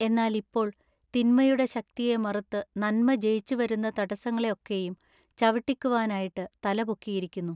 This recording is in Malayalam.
എന്നാൽ ഇപ്പോൾ തിന്മയുടെ ശക്തിയെ മറുത്തു നന്മ ജയിച്ചു വരുന്ന തടസങ്ങളെ ഒക്കെയും ചവിട്ടി ക്കുവാനായിട്ടു തല പൊക്കിയിരിക്കുന്നു.